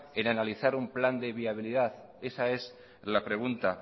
en analizar un plan de viabilidad esa es la pregunta